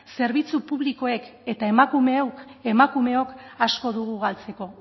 zerbitzu publikoek eta emakumeok asko dugu galtzeko